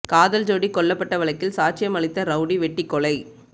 காதல் ஜோடி கொல்லப்பட்ட வழக்கில் சாட்சியம் அளித்த ரவுடி வெட்டிக்கொலை